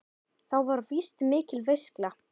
Þá var víst mikil veisla.